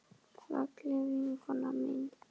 Fallega vinkona mín.